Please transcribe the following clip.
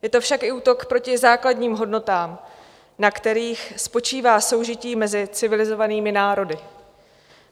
Je to však i útok proti základním hodnotám, na kterých spočívá soužití mezi civilizovanými národy.